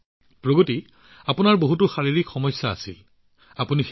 মোদী জীঃ প্ৰগতি আপুনি শাৰীৰিকভাৱে ডাঙৰ ডাঙৰ সমস্যাৰ সন্মুখীন হবলগীয়া হৈছিল